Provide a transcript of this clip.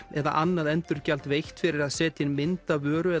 eða annað endurgjald veitt fyrir að setja inn mynd af vöru